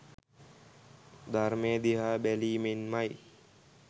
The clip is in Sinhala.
ධර්මය දිහා බැලීමෙන්මයි